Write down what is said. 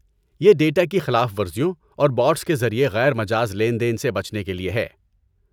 یہ ڈیٹا کی خلاف ورزیوں اور بوٹس کے ذریعے غیر مجاز لین دین سے بچنے کے لیے ہے۔